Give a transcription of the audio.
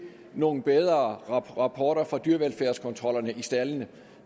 nogle bedre rapporter fra dyrevelfærdskontrollerne i staldene